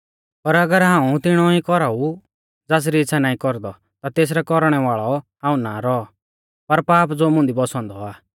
पर अगर हाऊं तिणौ ई कौराउ ज़ासरी इच़्छ़ा नाईं कौरदौ ता तेसरौ कौरणै वाल़ौ हाऊं ना रौऔ पर पाप ज़ो मुंदी बौसौ औन्दौ आ